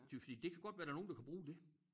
Det jo fordi det kan godt være der nogen der kan bruge det